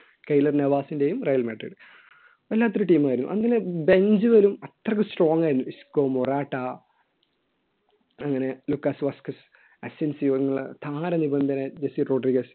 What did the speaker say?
കെയിലർ നവാസിന്റെയും Real Madrid വല്ലാത്തൊരു team ആ യിരുന്നു അങ്ങനെ ബെഞ്ച് വരും അത്രയ്ക്ക് strong ആയിരുന്നു ഇസ്മ റാട്ട അങ്ങനെ ലൂക്കാസ് വാസ് ക്വിസ